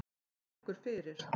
Það liggur fyrir.